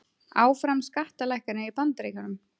Áfram skattalækkanir í Bandaríkjunum